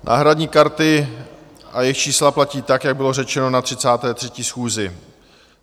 Náhradní karty a jejich čísla platí tak, jak bylo řečeno na 33. schůzi.